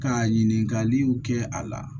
Ka ɲininkaliw kɛ a la